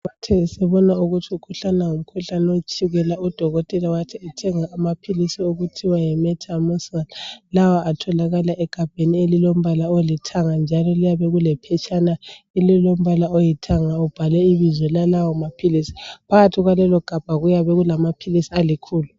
Uthe esebona ukuthi umkhuhlane alawo ngowetshukela udokotela wathi athenge amaphilisi okuthiwa yimetamul, lawa atholakala egabheni elilombala olithanga njalo liyabe lilephetshana elilombala oyithanga ubhalwe ibizo lalawo maphilisi. Phakathi kwalelogabha kuyabe kulamaphilisi alikhulu.